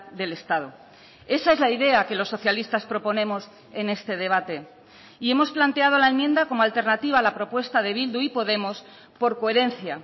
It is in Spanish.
del estado esa es la idea que los socialistas proponemos en este debate y hemos planteado la enmienda como alternativa a la propuesta de bildu y podemos por coherencia